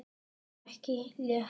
Það var ekki létt.